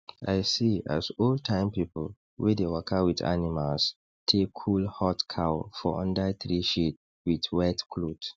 i see as old time people wey dey waka with animals take cool hot cow for under tree shade with wet cloth